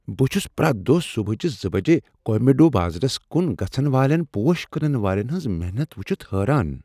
بہٕ چھس پرٛیتھ دۄہ صبحٲچہ زٕ بجہ کویمبیڈو بازرس کن گژھن والین پوش کٕنن والین ہنٛز محنت وٕچھتھ حیران